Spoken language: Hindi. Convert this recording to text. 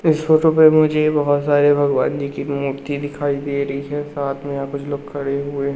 इस फोटो पे मुझे बहोत सारे भगवान जी की मूर्ति दिखाई दे रही है साथ में यहां कुछ लोग खड़े हुए--